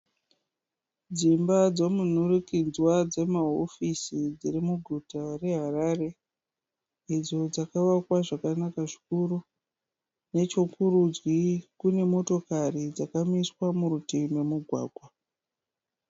Dzimba dzomunhurikidzwa dzemahofisi dzirimuguta reHarare. Idzo dzakavakwa zvakanaka zvikuru. Nechokurudyi kune motokari dzakamiswa murutivi momugwagwa.